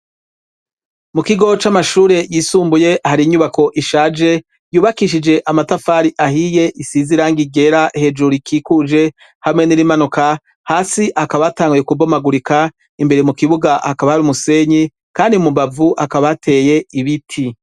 Mu kigo c'amashure yisumbuye hari inyubako ishaje, yubakishije amatafari ahiye, isize irangi ryera hejuru ikikuje, hamwe n'irimanuka hasi hakaba hatanguye kubomagurika. Imbere mu kibuga hakaba hari umusenyi, kandi mu mbavu hakaba hateye ibiti.